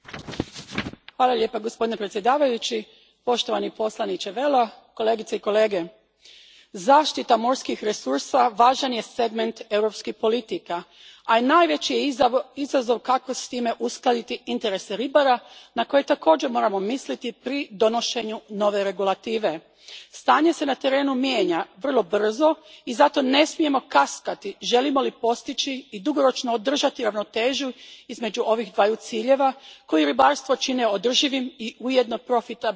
Gospodine predsjedniče, poštovani povjereniče Vella, kolegice i kolege, zaštita morskih resursa važan je segment europskih politika, a najveći je izazov kako s time uskladiti interese ribara na koje također moramo misliti pri donošenju nove regulative. Stanje se na terenu mijenja vrlo brzo i zato ne smijemo kaskati želimo li postići i dugoročno održati ravnotežu između ovih dvaju ciljeva koji ribarstvo čine održivim i ujedno profitabilnim zanimanjem.